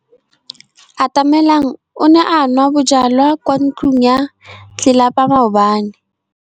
Atamelang o ne a nwa bojwala kwa ntlong ya tlelapa maobane.